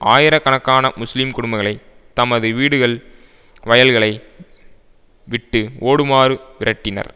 ஆயிர கணக்கான முஸ்லிம் குடும்பங்களை தமது வீடுகள் வயல்களை விட்டு ஓடுமாறு விரட்டினர்